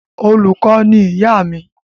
Olùkọ́ ni ìyá mi.